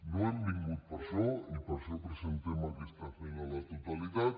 no hem vingut per això i per això presentem aquesta esmena a la totalitat